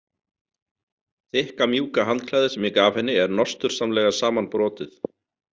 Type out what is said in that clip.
Þykka mjúka handklæðið sem ég gaf henni er nostursamlega samanbrotið.